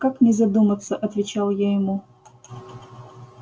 как не задуматься отвечал я ему